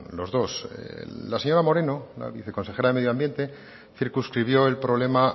los dos la señora moreno la viceconsejera de medio ambiente circunscribió el problema